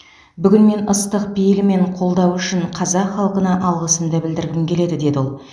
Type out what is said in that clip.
бүгін мен ыстық пейілі мен қолдауы үшін қазақ халқына алғысымды білдіргім келеді деді ол